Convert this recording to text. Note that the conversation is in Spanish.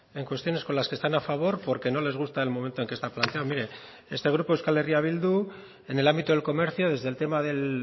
en cuestiones con las que están a favor porque no les gusta el momento en que está planteado mire este grupo euskal herria bildu en el ámbito del comercio desde el tema del